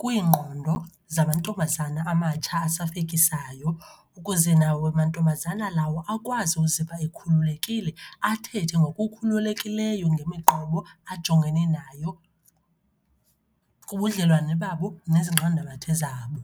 kwiingqondo zamantombazana amatsha asahlekisayo. Ukuze nawo mantombazana lawo akwazi ukuziva ekhululekile, athethe ngokukhululekileyo ngemiqobo ajongene nayo kubudlelwane babo nezinqandamathe zabo.